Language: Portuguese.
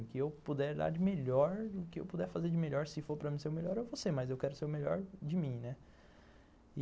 O que eu puder dar de melhor, o que eu puder fazer de melhor, se for para mim ser o melhor, eu vou ser, mas eu quero ser o melhor de mim, né?